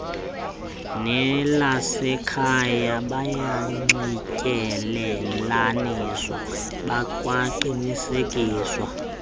nelasekhaya bayanxityelelaniswa bekwaqinisekiswa